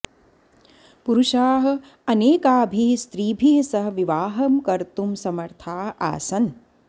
पुरुषाः अनेकाभिः स्त्रीभिः सह विवाहं कर्तुं समर्थाः आसन्